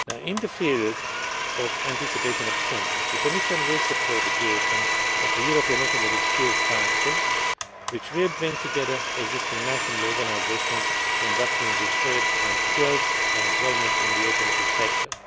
In the field of anticipation of change, the Commission will support the creation of a European Automotive Skills Council, which will bring together existing national organisations conducting research on skills and employment in the automotive